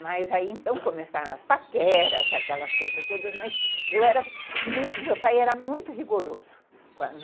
Mas aí então começaram as paqueras, aquelas coisas todas, mas meu pai era muito rigoroso.